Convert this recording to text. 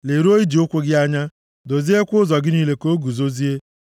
Leruo ije ụkwụ gị anya, doziekwa ụzọ gị niile ka ọ guzozie.